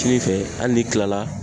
Kini fɛ ali n'i kilala